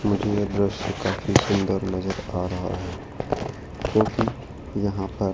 मुझे ये दृश्य काफी सुंदर नजर आ रहा है क्योंकि यहां पर--